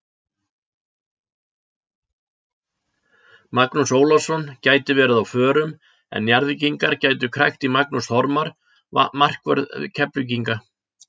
Magnús Ólafsson gæti verið á forum en Njarðvíkingar gætu krækt í Magnús Þormar markvörð Keflvíkinga.